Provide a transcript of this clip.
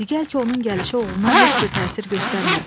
Deyək ki, onun gəlişi oğluna heç bir təsir göstərmədi.